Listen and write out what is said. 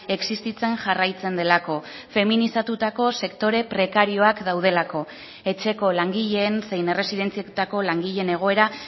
existitzen jarraitzen delako feminizatutako sektore prekarioak daudelako etxeko langileen zein erresidentzietako langileen egoera